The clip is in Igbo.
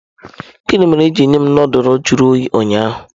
Gini mere i jiri nye m nudulu jụrụ oyi ụnyaahụ?